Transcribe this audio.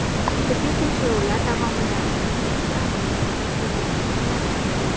Tibbiy tekshiruvlar davomida uning ichki a’zolarida ko‘plab ignalar aniqlangan.